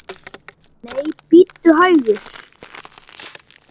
Nei, bíddu hægur!